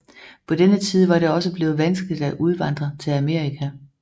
På denne tid var det også blevet vanskeligt at udvandre til Amerika